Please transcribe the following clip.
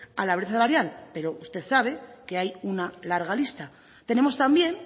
a la brecha salarial pero usted sabe que hay una larga lista tenemos también